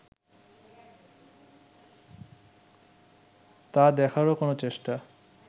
তা দেখারও কোনো চেষ্টা